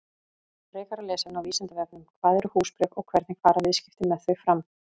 Frekara lesefni á Vísindavefnum: Hvað eru húsbréf og hvernig fara viðskipti með þau fram?